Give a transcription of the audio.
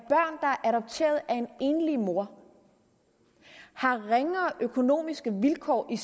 er adopteret af en enlig mor har ringere økonomiske vilkår i